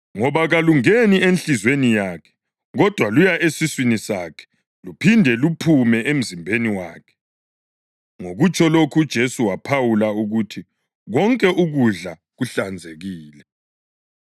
Ngoba kalungeni enhliziyweni yakhe kodwa luya esiswini sakhe luphinde luphume emzimbeni wakhe.” (Ngokutsho lokhu uJesu waphawula ukuthi konke ukudla kuhlanzekile.)